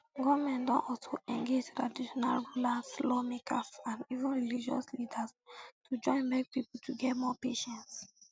goment don also engage traditional rulers lawmakers and even religious leaders to join beg pipo to get more patience